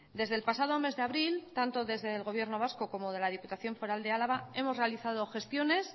desde el pasado mes de abril tanto desde el gobierno vasco como de la diputación foral de álava hemos realizados gestiones